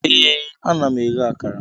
Ee, ana m eghe akara